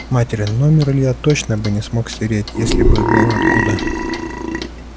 материн номер илья точно бы не смог стереть если бы было откуда